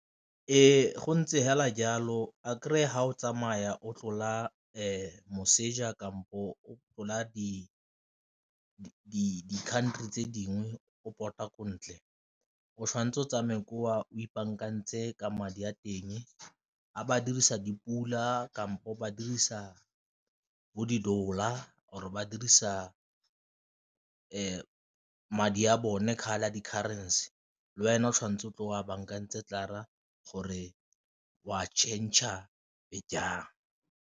Ee, go ntse fela jalo a fa o tsamaya o tlola moseja kampo o tlola di-country tse dingwe o pota ko ntle, o tshwanetse o tsamaye koo o ipaakantse ka madi a teng a ba dirisa dipula kampo ba dirisa bo di-dollar or ba dirisa madi a bone a di-currency le wena o tshwanetse o tlo wa bankantse gore wa changer jang.